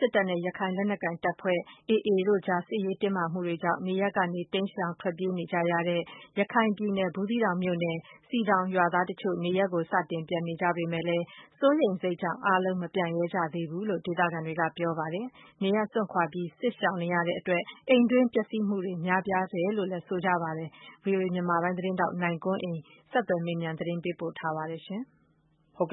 စစ်တပ်နဲ့ ရခိုင်လက်နက်ကိုင် အဖွဲ့ AA တို့အကြား စစ်ရေးတင်းမာမှုတွေကြောင့် နေရပ်ကနေ တိမ်းရှောင် ထွက်ပြေးနေကြရတဲ့ ရခိုင်ပြည်နယ် ဘူးသီးတောင်မြို့နယ် စည်တောင် ရွာသားတချို့နေရပ်ကို စတင်ပြန်နေကြပေမဲ့လည်း စိုးရိမ်စိတ်ကြောင့် အားလုံး မပြန်ရဲကြသေးဘူးလို့ ဒေသခံတွေက ပြောပါတယ်။ ကျေးရွာကို စွန့်ခွါပြီး စစ်ရှောင်နေရတဲ့ အတွက် အိမ်တွင်း ပျက်စီးမှုတွေ များပြားနေတယ်လို့လည်း ဆိုပါတယ်။ ဗွီအိုအေ မြန်မာပိုင်း သတင်းထောက်နိုင်ကွန်းအိန်ကနေ ဆက်သွယ်မေးမြန်း သတင်းပေးပို့ထားပါတယ်။ ဘူး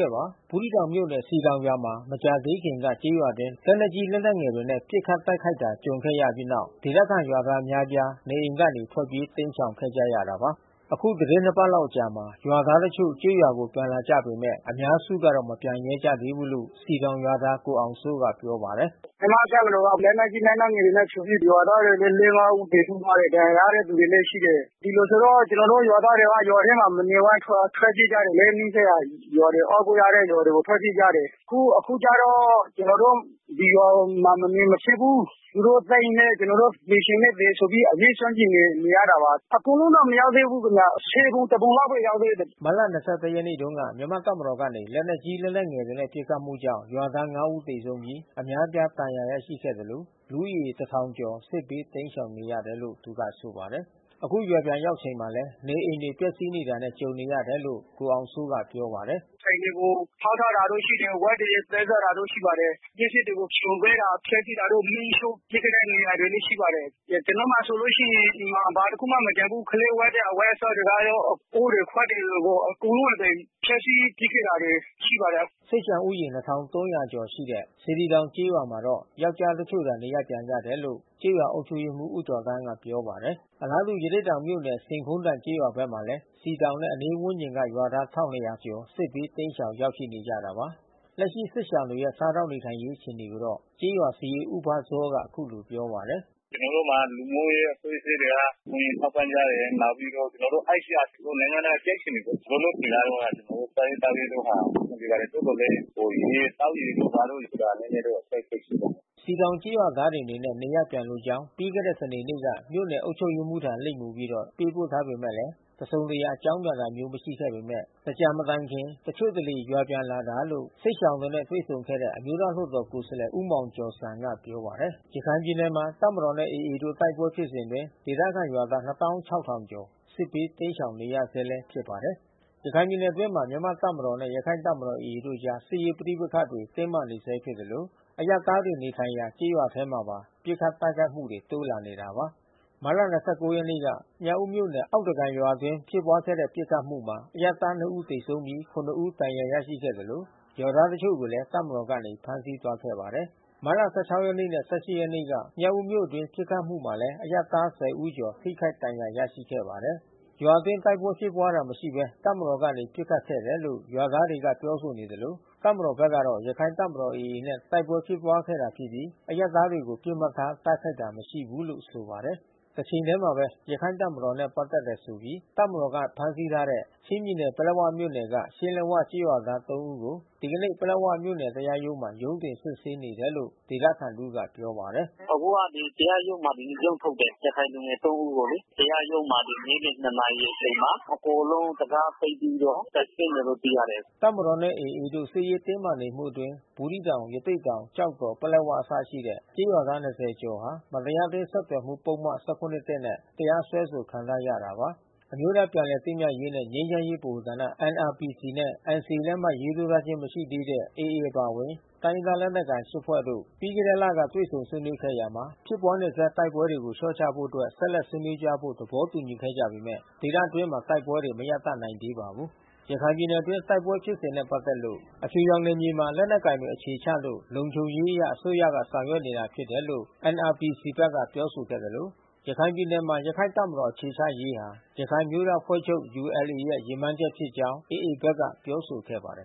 သီးတောင်မြို့နယ် စည်တောင်ရွာမှာ မကြာသေးခင်က ကျေးရွာအတွင်း လက်နက်ကြီး လက်နက်ငယ် တွေနဲ့ပစ်ခတ်တိုက်ခိုက်တာ ကြုံခဲ့ရပြီးတဲ့နောက် ဒေသခံရွာသားတွေ အများအပြား နေအိမ်ကနေ ထွက်ပြေး တိမ်းရှောင်ခဲ့ကြရတာပါ။ အခု သီတင်းနှစ်ပတ်လောက် အကြာမှာ ရွာသားတချို့ ကျေးရွာကို ပြန်လာနေကြပေမဲ့ အများစုကတော့ မပြန်ရဲကြသေးဘူးလို့ စည်တောင်ရွာသား ကိုအောင်စိုးက ပြောပါတယ်။ “ကျနော်တို့ ရွာထဲကို မြန်မာ့တပ်မတော်က လက်နက်ကြီး လက်နက်ငယ်တွေနဲ့ဖြိုပြီး ရွာသားတွေလဲ ဦးသေ ဆုံးသွားတယ်။ ဒဏ်ရာရတဲ့သူလဲရှိတယ်။ ဒီလိုဆိုတော့ ကျနော်တို့ ရွာသားတွေက ရွာထဲမှာမနေဝံ့ ထွက်ပြေးကြ တယ်လေ နီးစပ်ရာရွာတွေ အားကိုးရတဲ့ရွာတွေ ထွက်ပြေးကြတယ်။ အခုကျတော့ ကျနော်တို့ ဒီရွာမှာ မနေ မဖြစ်ဘူး။ သူတို့သတ်ရင်လည်း ကျနော်တို့က သေချင်လည်းသေဆိုပြီး အရဲစွန့်ပြီး နေရတာပါ။ အကုန်လုံးတော့ မရောက်သေးဘူးခင်ဗျ။ ပုံ တပုံလောက်ပဲ ရောက်သေးတယ်။” မတ်လ ရက်နေ့တုန်းက မြန်မာ့တပ်မတော်ကနေ လက်နက်ကြီး လက်နက်ငယ်တွေနဲ့ ပစ်ခတ်မှုကြောင့်ရွာသား ဦး သေဆုံးပြီး အများအပြား ဒဏ်ရာရရှိခဲ့သလို လူဦးရေ ကျော် စစ်ဘေး တိမ်းရှောင်နေရတယ်လို့လည်း သူကဆိုပါတယ်။ အခု ရွာပြန်ရောက်ချိန်မှာလည်း နေအိမ်တွေ ပျက်စီးနေတာနဲ့ ကြုံရတယ်လို့ ကိုအောင်စိုးက ပြောပါတယ်။ “ အိမ်တွေကို ဖေါက်ထားတာတို့ ရှိတယ်။ ဝက်တွေ သတ်ထားတာတို့ ရှိပါတယ်။ ပစ္စည်းတွေကို ဖြိုခွဲတာ ဖျက်စီးတာ မီးရှို့ပစ်ခဲ့တဲ့ နေရာတွေလည်း ရှိပါတယ်။ ကျနော်မှာဆိုလို့ရှိရင် အိမ်မှာ ဘာတခုမှ မကျန်ဘူး။ ကလေးဝတ်တဲ့ အဝတ်အစားတွေကရော အိုးတွေခွက်တွေ အကုန်လုံး ဖျက်စီးပစ်ခဲ့တာတွေ ရှိပါတယ်။” စစ်ရှောင်ဦးရေ ကျော်ရှိတဲ့ စေတီတောင် ကျေးရွာမှာတော့ ယောကျ်ားတချို့သာ နေရပ်ပြန်ကြတယ်လို့ ကျေးရွာအုပ်ချုပ်ရေးမှူး ဦးကျော်သန်းက ပြောပါတယ်။ အလားတူ ရသေ့တောင်မြို့နယ် ဆင်ခုန်းတိုင် ကျေးရွာဘက်မှာလည်း စည်တောင်နဲ့ အနီးဝန်းကျင်ရွာက ရွာသား ကျော် စစ်ဘေးတိမ်းရှောင် ရောက်ရှိနေကြတာပါ။ လက်ရှိ စစ်ရှောင်တွေရဲ့ စားသောက်နေထိုင်ရေး အခြေအနေကိုတော့ ကျေးရွာစာရေး ဦးဘစောက အခုလိုပြောပါတယ်။ “ကျနော်တို့မှာက လူမှုရေး အဖွဲ့အစည်းတွေက ကူညီထောက်ပံ့ကြတယ်။ နောက်ပြီးတော့ ကျနော်တို့ ICRC ပေါ့။ နိုင်ငံတကာကြက်ခြေနီပေါ့။ လောလောဆယ်ကတော့ ကျနော်တို့ စားရေးသောက်ရေးကဟာ အဆင်ပြေပါတယ်။ သို့သော်လည်း ဟို ရေသောက်ရေတို့ ဘာတို့ဆိုတာ နည်းနည်းတော့ အခက်ခဲရှိပါတယ်။” စည်တောင်ကျေးရွာသားတွေ အနေနဲ့ နေရပ်ပြန်လိုကြောင်း ပြီးခဲ့တဲ့ စနေနေ့က မြို့နယ် အုပ်ချုပ်ရေးမှူးထံ လိပ်မူပြီး ပေးပို့ထားပေမဲ့ တစုံတရာ အကြောင်းပြန်တာမျိုးတော့ မရှိခဲ့ပေမဲ့ သင်္ကြန်မတိုင်ခင် တချို့တလေ ရွာပြန်လာတာလို့ စစ်ရှောင်တွေနဲ့ တွေ့ဆုံခဲ့တဲ့ အမျိုးသားလွှတ်တော် ကိုယ်စားလှယ် ဦးမောင်ကျော်ဇံက ပြောပါတယ်။ ရခိုင်ပြည်နယ်မှာ တပ်မတော်နဲ့ AA တို့ တိုက်ပွဲဖြစ်စဉ်အတွင်း ဒေသခံရွာသား ကျော်စစ်ဘေး တိမ်းရှောင်နေရဆဲလည်း ဖြစ်ပါ တယ်။ ရခိုင်ပြည်နယ်အတွင်းမှာ မြန်မာ့တပ်မတော်နဲ့ ရခိုင့်တပ်မတော် AAတို့အကြား စစ်ရေးပဋိပက္ခတွေ တင်းမာနေဆဲဖြစ်သလို အရပ်သားတွေနေထိုင်ရာ ကျေးရွာတွေထဲမှာပါ ပစ်ခတ်တိုက်ခိုက်မှုတွေ တိုးလာနေတာပါ။ မတ်လ ရက်နေ့က မြောက်ဦးမြို့နယ် အောက်သားကန်ရွာအတွင်း ဖြစ်ပွါးတဲ့ပစ်ခတ်မှုမှာ အရပ်သား ဦး သေဆုံးပြီး ဦး ဒဏ်ရာ ရရှိခဲ့သလို ရွာသားတချို့ကိုလည်း တပ်မတော်ကနေ ဖမ်းဆီးသွားခဲ့ပါတယ်။ မတ်လ ရက်နေ့နဲ့ ရက်နေ့ မြောက်ဦးမြို့အတွင်း ပစ်ခတ်တိုက်ခိုက်မှုမှာလည်း အရပ်သား ဦး ကျော် ထိခိုက်ဒဏ်ရာ ရရှိခဲ့ပါတယ်။ ရွာအတွင်း တိုက်ပွဲဖြစ်ပွါးတာမရှိဘဲ မြန်မာ့တပ်မတော်ကနေ ပစ်ခတ်ခဲ့တယ်လို့ ရွာသားတွေက ပြောဆိုနေသလို တပ်မတော်ဘက်ကတော့ ရခိုင့်တပ်မတော် AA နဲ့ တိုက်ပွဲဖြစ်ပွါးခဲ့တာ ဖြစ်ပြီး အရပ်သားတွေကို ပစ်မှတ်ထား တိုက်ခိုက်တာ မရှိဘူးလို့ ဆိုပါတယ်။ တချိန်ထဲမှာပဲ ရခိုင့်တပ်မတော်နဲ့ ပက်သက်တယ်ဆိုပြီး တပ်မတော်က ဖမ်းဆီးထားတဲ့ ချင်းပြည်နယ် ပလက်၀ မြို့နယ်က ရှင်းလက်ဝကျေးရွာသား ဦးကို ဒီကနေ့ ပလက်ဝမြို့နယ် တရားရုံးမှာ ရုံးတင်စစ်ဆေးနေတယ်လို့ ဒေသခံတဦးက ပြောပါတယ်။ “အခုက တရားရုံးမှာ ဒီနေ့ ရုံးထုတ်တယ်။ ရခိုင်လူငယ် ဦးကိုလေ။ တရားရုံးမှာ နေ့လည် နာရီအချိန်မှာ အကုန်လုံးတံခါးပိတ်ပြီးတော့ စစ်ဆေးနေတယ်လို့ သိရတယ်။” တပ်မတော်နဲ့ AA တို့ စစ်ရေးတင်းမာနေမှုအတွင်း ဘူးသီးတောင် ရသေ့တောင် ကျောက်တော် ပလက်ဝအစရှိတဲ့ ကျေးရွာသား ကျော်ဟာ မတရား အတင်းဆက်သွယ်မှု ပုဒ်မ ၁၇/၁ နဲ့ တရားစွဲဆို ခံထားရတာပါ။ အမျိုးသား ပြန်လည်သင့်မြတ်ရေးနှင့် ငြိမ်းချမ်းရေးဗဟိုဌာန နဲ့ NCA လက်မှတ်ရေးထိုးခြင်း မရှိသေးတဲ့ AA အပါအဝင် တိုင်းရင်းသား လက်နက်ကိုင် ၈ ဖွဲ့တို့ ပြီးခဲ့တဲ့လက တွေ့ဆုံဆွေးနွေးခဲ့ရာမှာ ဖြစ်ပွါးနေဆဲ တိုက်ပွဲတွေကို လျော့ချဖို့အတွက် ဆက်ဆွေးနွေးသွားဖို့ သဘောတူညီခဲ့ကြပေမဲ့ ဒေသအတွင်းမှာ တိုက်ပွဲတွေ မရပ်တန့်နိုင်သေးပါဘူး။ ရခိုင်ပြည်နယ်အတွင်း တိုက်ပွဲဖြစ်စဉ်နဲ့ ပက်သက်လို့ အဖြူရောင်နယ်မြေမှာ လက်နက်ကိုင်တွေ အခြေချလို့ လုံခြုံရေးအရ အစိုးရက ဆောင်ရွက်နေတာ ဖြစ်တယ်လို့ NRPC ဘက်က ပြောဆိုခဲ့သလို ရခိုင်ပြည်မှာ ရခိုင်တပ်မတေ်ာ အခြေချရေးဟာ ရခိုင်အမျိုးသားအဖွဲ့ချုပ် ULA ရဲ့ ရည်မှန်းချက်ဖြစ်ကြောင်း AA ဘက်က ပြောဆိုခဲ့ပါတယ်